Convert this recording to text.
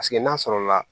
Paseke n'a sɔrɔla